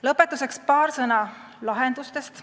Lõpetuseks paar sõna lahendustest.